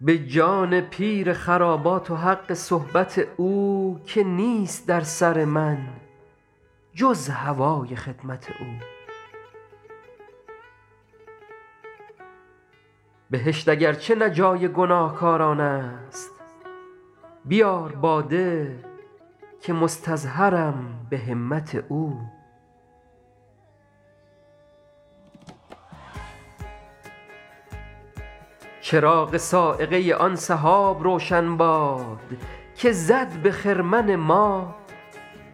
به جان پیر خرابات و حق صحبت او که نیست در سر من جز هوای خدمت او بهشت اگر چه نه جای گناهکاران است بیار باده که مستظهرم به همت او چراغ صاعقه آن سحاب روشن باد که زد به خرمن ما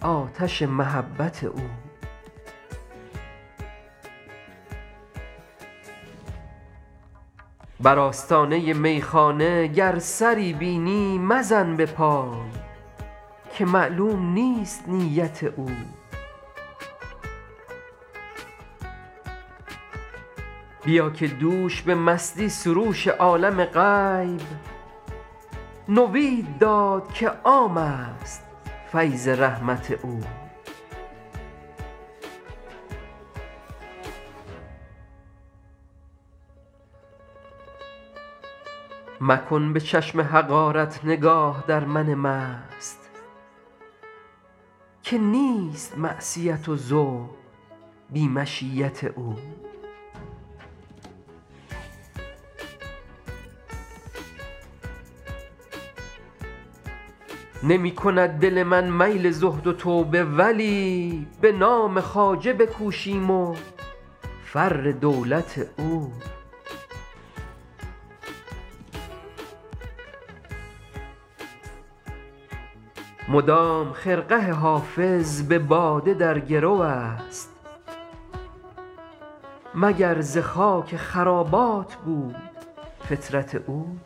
آتش محبت او بر آستانه میخانه گر سری بینی مزن به پای که معلوم نیست نیت او بیا که دوش به مستی سروش عالم غیب نوید داد که عام است فیض رحمت او مکن به چشم حقارت نگاه در من مست که نیست معصیت و زهد بی مشیت او نمی کند دل من میل زهد و توبه ولی به نام خواجه بکوشیم و فر دولت او مدام خرقه حافظ به باده در گرو است مگر ز خاک خرابات بود فطرت او